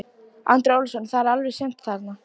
Andri Ólafsson: Það er alveg séns þarna?